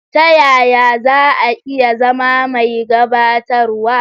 Ta yaya za a iya zama mai gabatarwa?